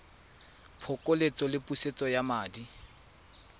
phokoletso le pusetso ya madi